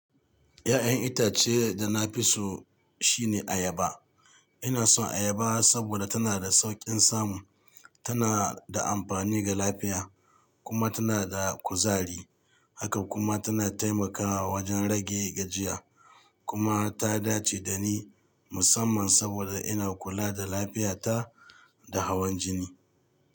Ya'yan itace da na fi so shine ayaba. Ina son ayaba saboda tana da sauƙin samu, tana da amfani ga lafiya kuma tana da kuzari. Haka kuma tana taimakawa wajen rage gajiya kuma ta dace da ni musamman saboda ina kula da lafiyata da hawan jini.